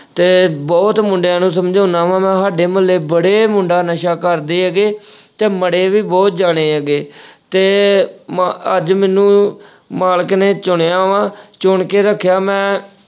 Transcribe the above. ਤੇ ਬਹੁਤ ਮੁੰਡਿਆਂ ਨੂੰ ਸਮਝਾਉਣਾ ਵਾ ਮੈਂ ਸਾਡੇ ਮੁਹੱਲੇ ਬੜੇ ਮੁੰਡੇ ਨਸ਼ਾ ਕਰਦੇ ਹੈਗੇ ਤੇ ਮਰੇ ਵੀ ਬਹੁਤ ਜਾਣੇ ਹੈਗੇ ਤੇ ਮ ਅਹ ਅੱਜ ਮੈਨੂੰ ਮਾਲਕ ਨੇ ਚੁਣਿਆ ਵਾ ਚੁਣ ਕੇ ਰੱਖਿਆ, ਮੈਂ